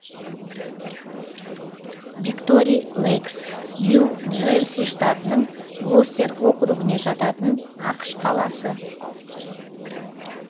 виктори лэйкс нью джерси штатының глостер округіне жататын ақш қаласы